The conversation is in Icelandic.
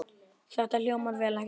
Þetta hljómar vel, ekki satt?